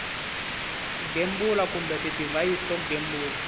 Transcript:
gembula kumbe tidivhayisi to gembula